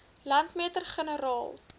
landmeter generaal